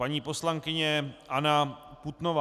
Paní poslankyně Anna Putnová.